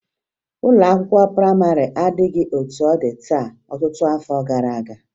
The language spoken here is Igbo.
Ụlọ akwụkwọ prayịmarị adịbughi etu ọ dị taa ọtụtụ afọ gara aga